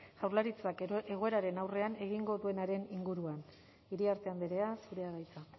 jaurlaritzak egoeraren aurrean egingo duenaren inguruan iriarte andrea zurea da hitza